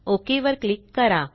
okay वर click करा